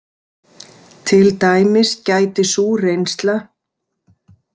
Til dæmis gæti sú reynsla.